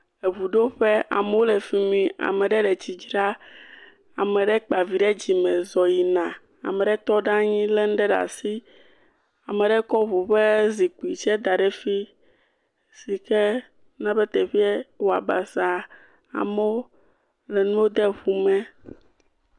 Eŋuɖoƒe, ame ɖe le fimi, ame ɖe le tsi dzra. Ame aɖe kpa vi ɖe dzime zɔ yina. Ame aɖe tɔ ɖa nyi le nuɖe ɖe asi, ekɔ eŋu ƒe zikuie kɔ da ɖe fi sike na be teƒea wɔ basa. Amewo ƒle nu de ŋu me.